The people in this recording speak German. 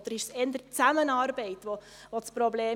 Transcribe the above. Oder war eher die Zusammenarbeit das Problem?